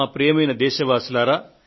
ప్రియమైన నా దేశ ప్రజలారా